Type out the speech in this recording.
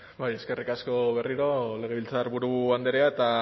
eskerrik asko berriro legebiltzarburu andrea eta